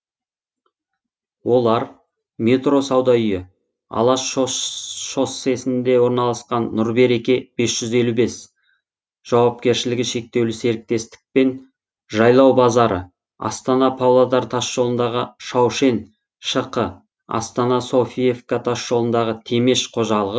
олар метро сауда үйі алаш шоссесінде орналасқан нұрбереке бес жүз елу бес жауапкершілігі шектеулі серіктестік пен жайлау базары астана павлодар тасжолындағы шаушен шқ астана софиевка тасжолындағы темеш қожалығы